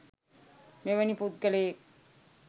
මෙවැනි පුද්ගලයෙක්